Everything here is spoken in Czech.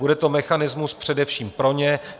Bude to mechanismus především pro ně.